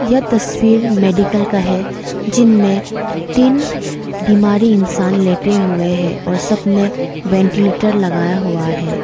यह तस्वीर मेडिकल का है जिनमें तीन बीमारी इंसान लेते हुए हैं और सब ने वेंटीलेटर लगाया हुआ है।